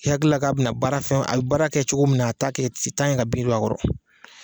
I hakilila ka bɛna baara fɛn a bɛ baara kɛ cogo min na a t'a kɛ t'a ɲini ka bin dɔ a kɔrɔ.